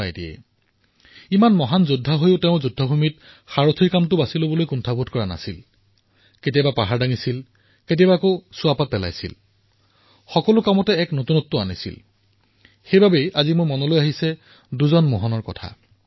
মিত্ৰতা এনে যে সুদামাৰ ঘটনা কোনে পাহৰিব পাৰে আৰু যুদ্ধ ভূমিত ইমানবোৰ মহান গুণ থকাৰ পিছতো সাৰথিৰ ৰূপত কাম কৰিবলৈ স্বীকাৰ কৰি লোৱা কেতিয়াবা শিল উঠোৱাৰ কাম কেতিয়াবা ভোজনৰ পিছত পাত উঠোৱাৰ কাম অৰ্থাৎ সকলো ক্ষেত্ৰতে এক নতুনত্বৰ অনুভৱ হয় আৰু সেইবাবে আজি যেতিয়া মই আপোনালোকৰ সৈতে কথা পাতি থকাৰ সময়ত মোৰ ধ্যান দুজন মোহনলৈ গৈছে